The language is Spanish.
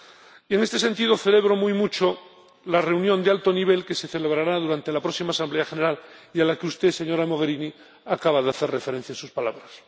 Y, en este sentido, celebro muy mucho la reunión de alto nivel que se celebrará durante la próxima Asamblea General y a la que usted, señora Mogherini, acaba de hacer referencia en sus palabras.